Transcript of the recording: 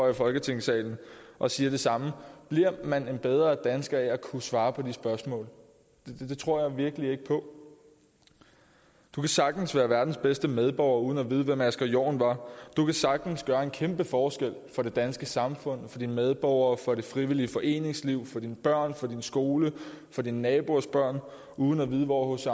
i folketingssalen og siger det samme bliver man en bedre dansker af at kunne svare på de spørgsmål det tror jeg virkelig ikke på du kan sagtens være verdens bedste medborger uden at vide hvem asger jorn var du kan sagtens gøre en kæmpe forskel for det danske samfund for dine medborgere for det frivillige foreningsliv for dine børn for din skole for dine naboers børn uden at vide hvor hc